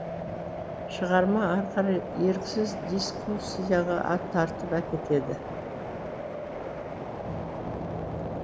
шығарма ары қарай еріксіз дискуссияға тартып әкетеді